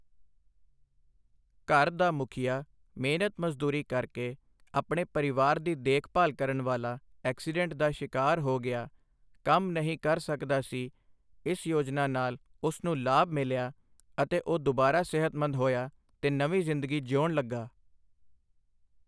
ਘਰ ਦਾ ਮੁਖੀਆ ਮਿਹਨਤ ਮਜ਼ਦੂਰੀ ਕਰਕੇ ਆਪਣੇ ਪਰਿਵਾਰ ਦੀ ਦੇਖਭਾਲ ਕਰਨ ਵਾਲਾ ਐਕਸੀਡੈਂਟ ਦਾ ਸ਼ਿਕਾਰ ਹੋ ਗਿਆ, ਕੰਮ ਨਹੀਂ ਕਰ ਸਕਦਾ ਸੀ ਇਸ ਯੋਜਨਾ ਨਾਲ ਉਸ ਨੂੰ ਲਾਭ ਮਿਲਿਆ ਅਤੇ ਉਹ ਦੁਬਾਰਾ ਸਿਹਤਮੰਦ ਹੋਇਆ ਤੇ ਨਵੀਂ ਜ਼ਿੰਦਗੀ ਜਿਊਣ ਲੱਗਾ।